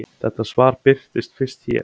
Þetta svar birtist fyrst hér.